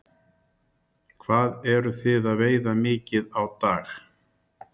Magnús Hlynur Hreiðarsson: Hvað eruð þið að veiða mikið á dag?